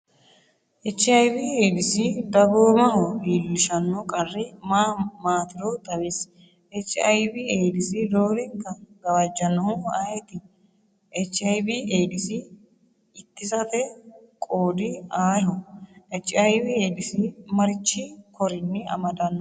Ech. Ay.V/Eedisi dagoomaho iillishanno qarri maa maatiro xawisi Ech. Ay.V/Eedisi roorenka gawajjannohu ayeti? Ech. Ay.V/Eedisi ittisate qoodi ayeho? Ech. Ay.V/Eedisi marichi korinni amadannoha lawannohe?